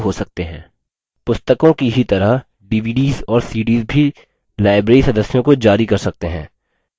पुस्तकों की ही तरह dvds और cds भी library सदस्यों को जारी कर सकते हैं